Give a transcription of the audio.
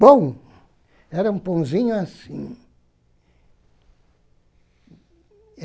Pão, era um pãozinho assim.